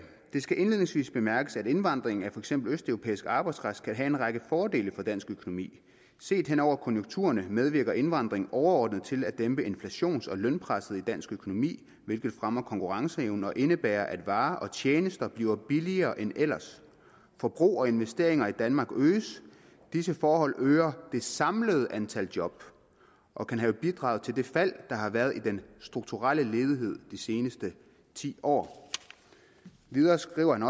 skal indledningsvist bemærkes at indvandring af fx østeuropæisk arbejdskraft kan have en række fordele for dansk økonomi set henover konjunkturerne medvirker indvandringen overordnet til at dæmpe inflations og lønpresset i dansk økonomi hvilket fremmer konkurrenceevnen og indebærer at varer og tjenester bliver billigere end ellers forbrug og investeringer i danmark øges disse forhold øger det samlede antal job og kan have bidraget til det fald der har været i strukturledigheden det seneste tiår videre skriver han